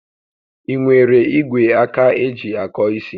Ị nwere igwe aka eji akọ isi?